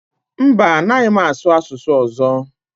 Mba, anaghị m asụ asụsụ ọzọ